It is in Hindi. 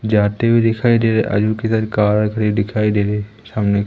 जाते हुए दिखाई दे रहा और जो कि इधर कार खड़ी दिखाई दे रही है सामने।